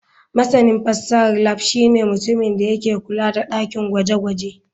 Masanin fasahar lab shine mutumin da ke kula da dakin gwaje-gwaje.